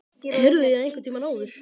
Heyrði ég það einhvern tíma áður?